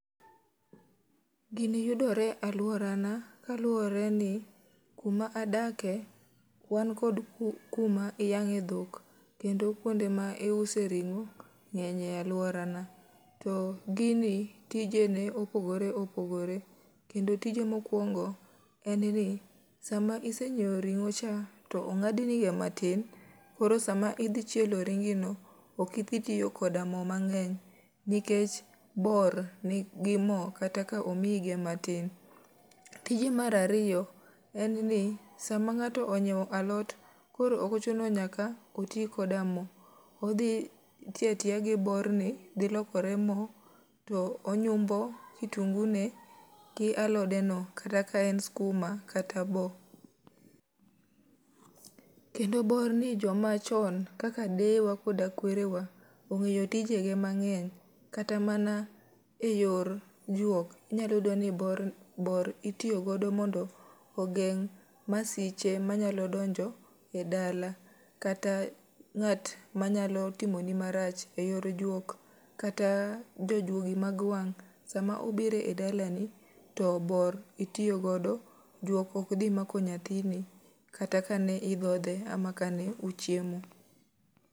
Gini yudore e alworana kaluworeni kuma adake, wan kod ku kuma iyangé dhok. Kendo kuonde ma iuse ringó ngény e alworana. To gini tijene opogore opogore. Kendo tije mokwongo en ni, sama isenyiewo ringó cha, to ongádnigo matin, koro sama idhi chielo ringi no, ok idhi tiyo koda mo mangény, nikech bor nigi mo, kata ka omiige matin. Tije mar ariyo, en ni sama ngáto onyiewo alot, koro ok ochuno nyaka oti koda mo. Odhi tiyo atiya gi borni, dhi lokore mo, to onyumbo kitungune gi alodeno, kata ka en sikuma kata boo. Kendo borni joma chon kaka deyewa koda kwerewa, ongéyo tijege mangény. Kata mana e yor juok, inya yudo ni borni, bor itiyogo mondo ogeng' masiche manyalo donjo e dala. Kata ngát ma nyalo timo ni marach e yor juok, kata jojuogi mag wang'. Sama obiro e dalani, to bor itiyogodo, juok ok dhi mako nyathini kata ka ne idhodhe ama ka ne uchiemo.